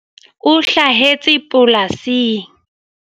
O hlahetse polasing.